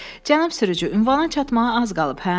“Cənab sürücü, ünvana çatmağa az qalıb, hə?”